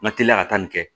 N ka teliya ka taa nin kɛ